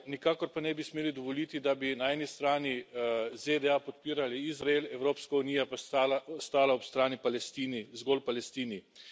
Nikakor pa ne bi smeli dovoliti, da bi na eni strani ZDA podpirali Izrael, Evropska unija pa stala ob strani zgolj Palestini.